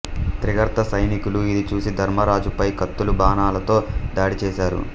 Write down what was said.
త్రిగర్త సైనికులు ఇది చూసి ధర్మరాజు పై కత్తులు బాణాలతో దాడి చేసారు